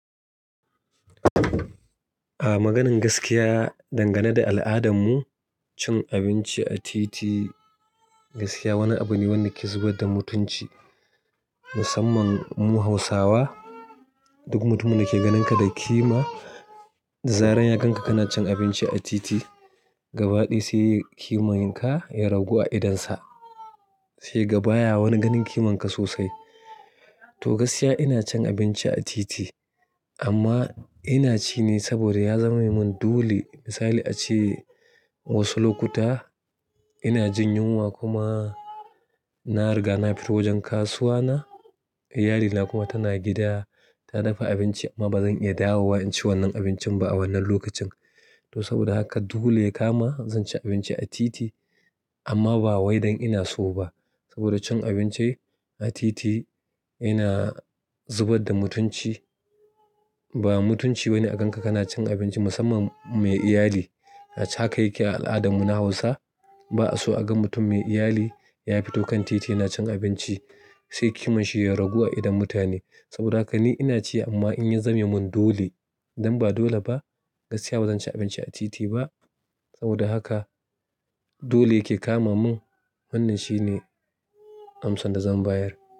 A maganin gaskiya, dangane da al'adarmu, cin abinci a titi gaskiya wani abu ne wanda yake zubar da mutunci. Musamman mu Hausawa, duk mutumin da ke ganinka da kima, zaran ya gan ka kana cin abinci a titi, gabaɗaya sai kimar ka ya ragu a idonsa. Sai gaba ya wani ganin kimar ka sosai. To gaskiya ina cin abinci a titi amma ina ci ne saboda ya zame mun dole. Misali a ce wasu lokuta ina jin yunwa kuma na riga na fito wajen kasuwa na, iyalina kuma tana gida ta dafa abinci amma bazan iya dawowa in ci wannan abincin ba a wannan lokacin. To saboda haka dole ya kama zan ci abinci a titi amma ba waidan ina so ba. Saboda cin abinci a titi yana zubar da mutunci. Ba mutunci wani a gan ka kana cin abinci musamman mai iyali. Haka yake a al'adarmu na Hausa. Ba'a so a ga mutum mai iyali ya fito kan titi yana cin abinci sai kimu shi ya ragu a idon mutane saboda haka ni ina ci amma in ya zame mun dole, idan ba dole ba gaskiya bazan ci abinci a titi ba. Saboda haka dole yake kama mun wannan shine amsan da zan bayar.